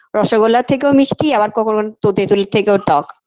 রসগোল্লার থেকেও মিষ্টি আবার কখনো তেতুলের থেকেও টক